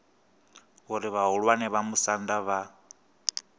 uri vhahulwane vha musanda vha